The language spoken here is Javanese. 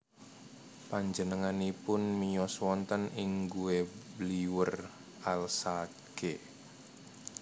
Penjenenganipun miyos wonten ing Guebwiller Alsace